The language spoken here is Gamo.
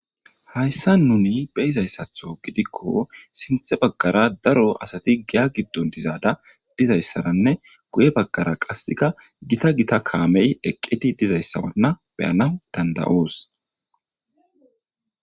Hayssa nuni beizayssatho gidikko sinthe baggara daro asati giya giddon dizaada dizayssaranne guye baggara qasseka gita gita kaamey eqqeti dizayssawanna beyana dandayoos